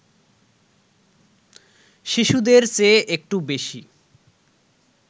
শিশুদের চেয়ে একটু বেশি